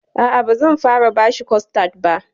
A'a, bazan fara bashi kostad ba.